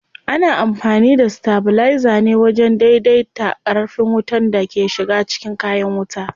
Ana amfani da stabilizer ne wajen dai dai ta ƙarfin wutan da ke shiga cikin kayan wuta.